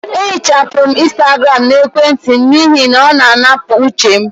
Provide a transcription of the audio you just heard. Eehichapụrụ m Instagram n' emwenti m n'ihi na ọ na-anapụ uche m